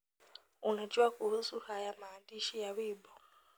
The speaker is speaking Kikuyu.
unajua kuhusu haya maandishi ya wimbo